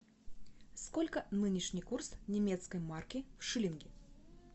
сколько нынешний курс немецкой марки в шиллинги